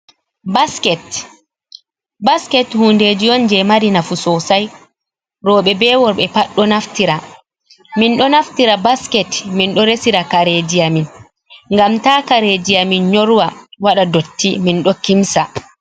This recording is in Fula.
Basket, basket hundeji on jei mari nafu sosai. Roɓe be worɓe pat ɗo Naftira. Min ɗo naftira be basket min ɗo resira kare ji amin. Gam ta kareji nyorwa waɗa dotti min ɗo kimsa.